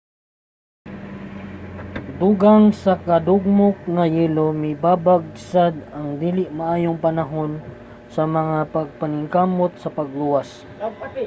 dugang sa nadugmok nga yelo mibabag sad ang dili maayong panahon sa mga pagpaningkamot sa pagluwas